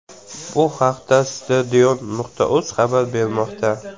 Bu haqda Stadion.uz xabar bermoqda .